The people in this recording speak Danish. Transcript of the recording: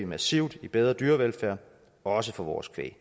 massivt i bedre dyrevelfærd også for vores kvæg